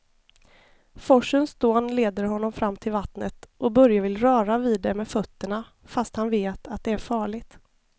Forsens dån leder honom fram till vattnet och Börje vill röra vid det med fötterna, fast han vet att det är farligt.